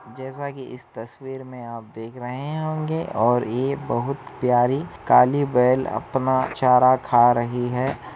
जैसा कि इस तस्वीर मे आप देख रहे होंगे और ये बहुत प्यारी काली बैल अपना चारा खा रही है।